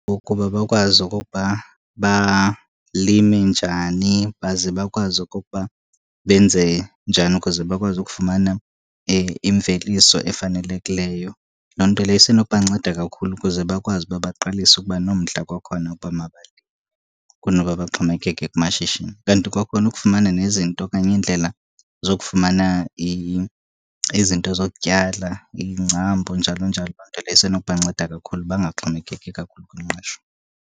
Ukuba bakwazi okokuba balime njani baze bakwazi okokuba benze njani ukuze bakwazi ukufumana imveliso efanelekileyo. Loo nto leyo isenokubanceda kakhulu ukuze bakwazi uba baqalise ukuba nomdla kwakhona ukuba mabalime kunoba baxhomekeke kumashishini. Kanti kwakhona ukufumana nezinto okanye iindlela zokufumana izinto zokutyala, iingcambu njalo njalo, loo nto leyo isenokubanceda kakhulu bangaxhomekeki kakhulu kwingqesho.